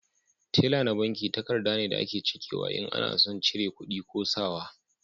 Tela na banki takarda ne da a ke cike in ana son cire kudi ko sa wa